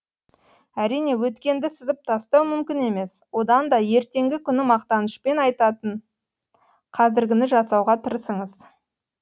әрине өткенді сызып тастау мүмкін емес одан да ертеңгі күні мақтанышпен атайтын қазіргіні жасауға тырысыңыз